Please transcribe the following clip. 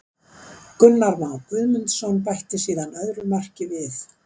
Gunnar Már Guðmundsson bætti síðan öðru marki við.